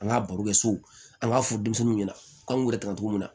An ka baro kɛ so an k'a fɔ denmisɛnninw ɲɛna k'an kun yɛrɛ ta togo min na